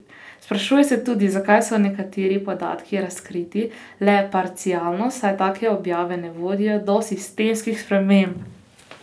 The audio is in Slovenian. Sprašuje se tudi, zakaj so nekateri podatki razkriti le parcialno, saj take objave ne vodijo do sistemskih sprememb.